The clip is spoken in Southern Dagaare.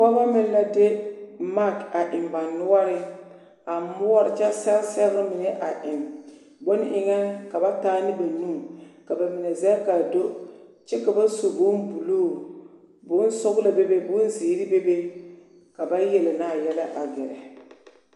Pɔgebɔ meŋ la de maki a eŋ ba noɔreŋ a moɔre kyɛ sɛge sɛgere mine a eŋ bone eŋɛ ka ba taa ne ba nu ka bamine zɛge k'a do kyɛ ka ba su bombuluu bonsɔgelɔ bebe bonzeere bebe ka ba yele naa yɛlɛ a gɛrɛ.